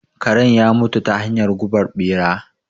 Karen ya mutu ta hanyar gubar ɓera.